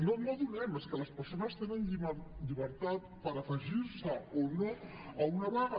no no donem és que les persones tenen llibertat per afegir se o no a una vaga